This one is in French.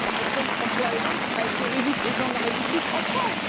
Par exemple, François Hollande a été élu Président de la République en France.